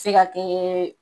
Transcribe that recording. Se ka kɛ